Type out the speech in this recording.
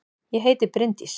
Ég heiti Bryndís!